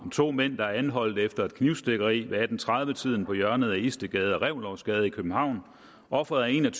to mænd er anholdt efter et knivstikkeri ved atten tredive tiden på hjørnet af istedgade og reventlowsgade i københavn ofret er en